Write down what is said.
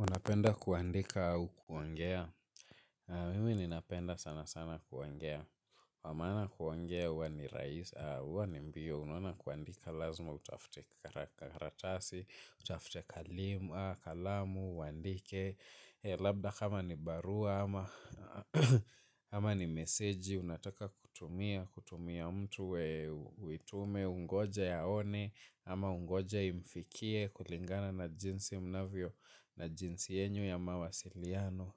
Unapenda kuandika au kuongea? Mimi ninapenda sanasana kuongea. Kwa maana kuongea huwa ni rahisi, huwa ni mbio. Unaona kuandika lazima, utafute karatasi, utafute, kalamu, uandike. Labda kama ni barua ama ni meseji. Unataka kutumia, kutumia mtu, uitume, ungoje aone. Ama ungoje imfikie kulingana na jinsi mnavyo na jinsi yenyu ya mawasiliano.